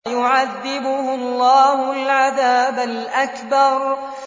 فَيُعَذِّبُهُ اللَّهُ الْعَذَابَ الْأَكْبَرَ